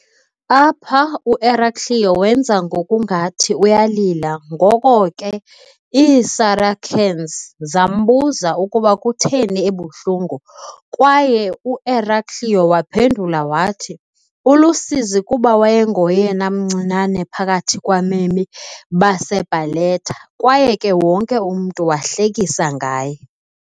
Apha u-Eraclio wenza ngokungathi uyalila ngoko ke iiSaracens zambuza ukuba kutheni ebuhlungu kwaye u-Eraclio waphendula wathi ulusizi kuba wayengoyena mncinane phakathi kwabemi baseBarletta kwaye ke wonke umntu wahlekisa ngaye.